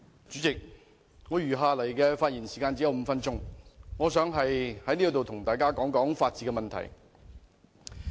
主席，我只餘下5分鐘發言時間，我想在此與大家談談法治問題。